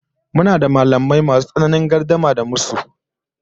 Muna da mallamai masu tsananin gardama da musu